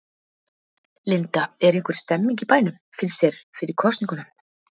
Linda: Er einhver stemning í bænum, finnst þér, fyrir kosningunum?